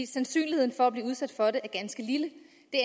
sandsynligheden for at blive udsat for det er ganske lille